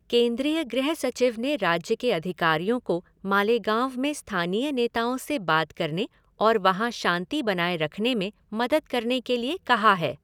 केंद्रीय गृह सचिव ने राज्य के अधिकारियों को मालेगाँव में स्थानीय नेताओं से बात करने और वहाँ शांति बनाए रखने में मदद करने के लिए कहा है।